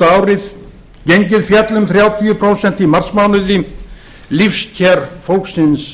mánuði gengið féll um þrjátíu prósent í marsmánuði lífskjör fólksins